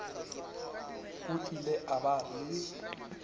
o ile a ba le